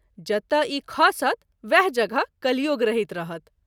जतय ई खसत वएह जगह कलियुग रहित रहत।